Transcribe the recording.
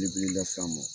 Belebele las'an ma